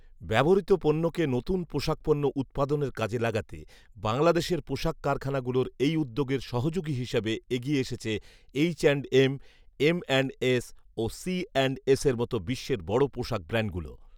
ব্যবহৃত পণ্যকে নতুন পোশাকপণ্য উৎপাদনের কাজে লাগাতে বাংলাদেশের পোশাক কারখানাগুলোর এই উদ্যোগের সহযোগী হিসাবে এগিয়ে এসেছে এইচঅ্যান্ডএম, এমঅ্যান্ডএস ও সিঅ্যান্ডএসের মতো বিশ্বের বড় পোশাক ব্র্যান্ডগুলো